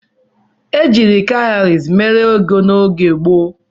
Ejiiri kawụrị mere ego n'oge gboo